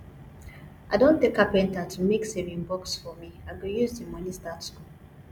i don tell carpenter to make saving box for me i go use the money start school